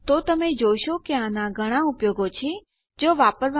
તો તમે જોશો કે આનાં ઘણાં ઉપયોગ છે જો વાપરવામાં આવે અને ડીકલેર કરવામાં આ ખરેખર સરળ છે